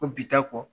Ko bi ta kɔ